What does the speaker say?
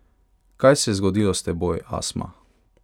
Kaj se je zgodilo s teboj, Asma?